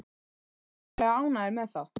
Þið eruð væntanlega ánægðir með það?